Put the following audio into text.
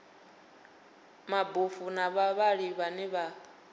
mabofu na vhavhali vhane vha